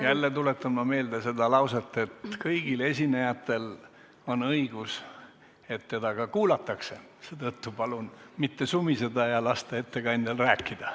Jälle tuletan meelde, et kõigil esinejatel on õigus, et neid ka kuulatakse, seetõttu palun mitte sumiseda, vaid lasta ettekandjal rääkida.